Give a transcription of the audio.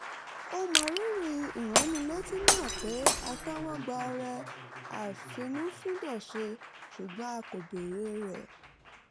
ó mọrírì ìránnilétí náà pé a tẹ́wọ́ gba ọrẹ àfínnúfíndọ̀ṣe ṣùgbọ́n a kò béèrè rẹ̀